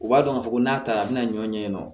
U b'a dɔn ka fɔ ko n'a taara a bina ɲɔn ɲɛɲini nɔ